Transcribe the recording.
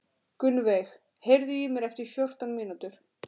Gunnveig, heyrðu í mér eftir fjórtán mínútur.